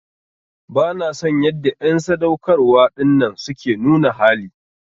Bana son yanda en sadaukarwa dinnan suke nuna hali.